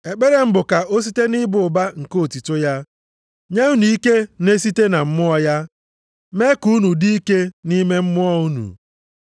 Ekpere m bụ ka o site nʼịba ụba nke otuto ya, nye unu ike na-esite na Mmụọ ya, mee ka unu dị ike nʼime mmụọ unu;